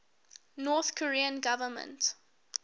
north korean government